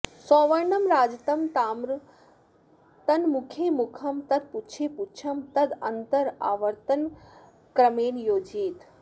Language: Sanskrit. सौवर्णं राजतं ताम्रं तन्मुखे मुखं तत्पुच्छे पुच्छं तदन्तरावर्तनक्रमेण योजयेत्